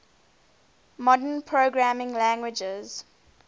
modern programming languages